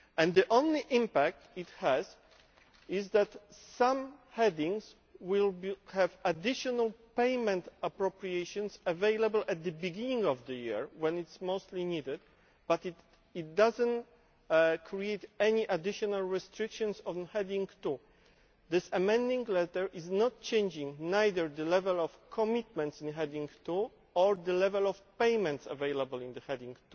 The only impact it will have is that some headings will have additional payment appropriations available at the beginning of the year when they are most needed, but it does not create any additional restrictions to Heading 2. This Amending Letter does not change either the level of commitments under Heading 2 or the level of payments available under Heading